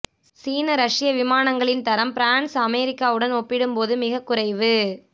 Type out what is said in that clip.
சீன ரஷ்ய விமானங்களின் தரம் பிரான்ஸ் அமெரிக்காவுடன் ஒப்பிடும்போது மிகவும் குறைவு